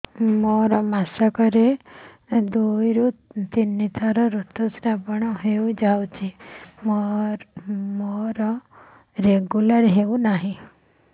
ମୋର ମାସ କ ରେ ଦୁଇ ରୁ ତିନି ଥର ଋତୁଶ୍ରାବ ହେଇଯାଉଛି ମୋର ରେଗୁଲାର ହେଉନାହିଁ